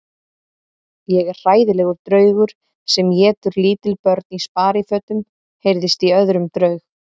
Ég er hræðilegur draugur sem étur lítil börn í sparifötum heyrðist í öðrum draug.